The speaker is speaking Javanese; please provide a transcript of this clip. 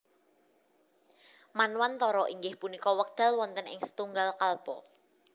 Manwantara inggih punika wekdal wonten ing setunggal kalpa